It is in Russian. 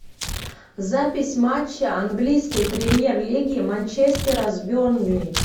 запись матча английской премьер лиги манчестера с бернли